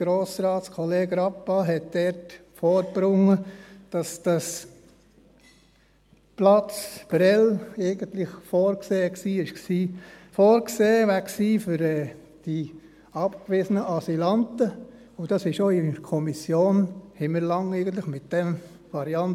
Grossratskollege Rappa hat dort vorgebracht, dass der Platz Prêles eigentlich für die abgewiesenen Asylanten vorgesehen gewesen wäre, und auch in der Kommission rechneten wir eigentlich lange mit dieser Variante.